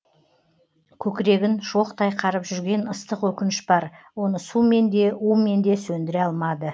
көкірегін шоқтай қарып жүрген ыстық өкініш бар оны сумен де умен де сөндіре алмады